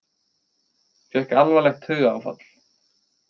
Fékk alvarlegt taugaáfall